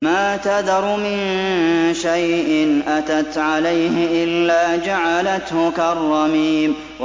مَا تَذَرُ مِن شَيْءٍ أَتَتْ عَلَيْهِ إِلَّا جَعَلَتْهُ كَالرَّمِيمِ